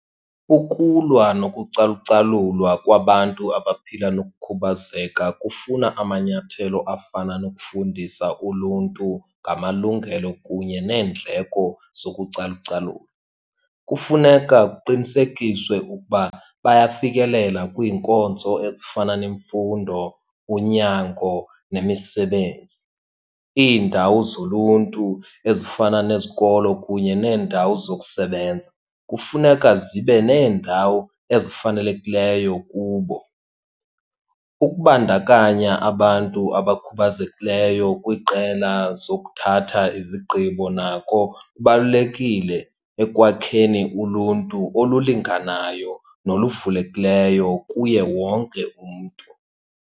Ukulwa nokucalucalulwa kwabantu abaphila nokukhubazeka kufuna amanyathelo afana nokufundisa uluntu ngamalungelo kunye neendleko zokucalucalula. Kufuneka kuqinisekiswe ukuba bayafikelela kwiinkonzo ezifana nemfundo, unyango, nemisebenzi. Iindawo zoluntu ezifana nezikolo kunye neendawo zokusebenza kufuneka zibe neendawo ezifanelekileyo kubo. Ukubandakanya abantu abakhubazekileyo kwiqela zokuthatha izigqibo nako kubalulekile ekwakheni uluntu olulinganayo noluvulekileyo kuye wonke umntu.